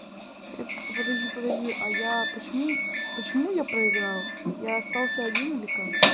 подожди подожди а я почему почему я проиграл я остался один или как